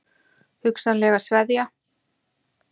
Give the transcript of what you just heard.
Hugsanlega sveðja?